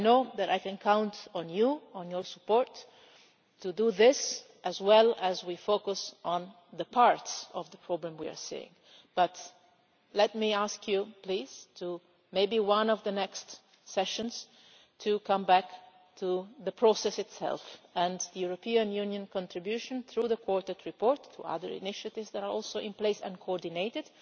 I know that I can count on you and on your support to do this as we focus on the parts of the problem we are seeing, but let me ask you, at one of the next part sessions, to come back to the process itself and the European Union's contribution, through the Quartet report, to other initiatives that are also in place and being coordinated,